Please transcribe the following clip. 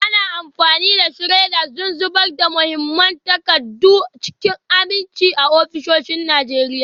Ana amfani da shredders don zubar da muhimman takardu cikin aminci a ofisoshin Najeriya.